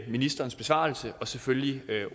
ministerens besvarelse og selvfølgelig